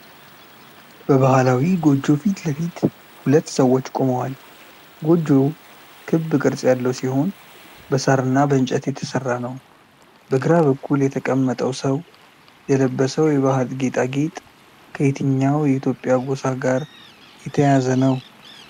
በባህላዊ ጎጆ ፊት ለፊት ሁለት ሰዎች ቆመዋል። ጎጆው ክብ ቅርጽ ያለው ሲሆን በሳርና በእንጨት የተሠራ ነው። በግራ በኩል የተቀመጠው ሰው የለበሰው የባህል ጌጣጌጥ ከየትኛው የኢትዮጵያ ጎሳ ጋር የተያያዘ ነው?